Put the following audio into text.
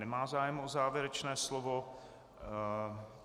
Nemá zájem o závěrečné slovo.